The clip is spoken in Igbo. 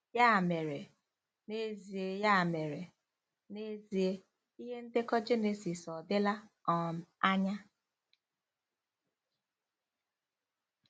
Ya mere, n'ezie Ya mere, n'ezie, ihe ndekọ Jenesis ọ̀ dịla um anya?